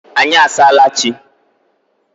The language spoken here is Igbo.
anyị asaala chi.